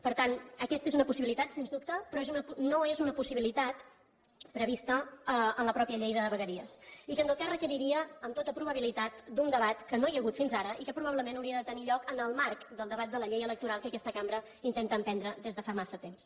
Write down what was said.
per tant aquesta és una possibilitat sens dubte però no és una possibilitat prevista en la mateixa llei de vegueries i que en tot cas requeriria amb tota probabilitat d’un debat que no hi ha hagut fins ara i que probablement hauria de tenir lloc en el marc del debat de la llei electoral que aquesta cambra intenta emprendre des de fa massa temps